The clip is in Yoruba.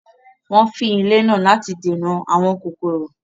wọ́n fín ilé náà láti dènà “ àwọn kòkòrò ”.